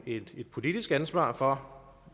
et politisk ansvar for